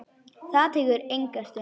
Það tekur enga stund.